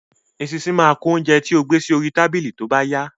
Eṣinṣin máa kún oúnjẹ tí ó gbé sí orí tábìlì tóbá yá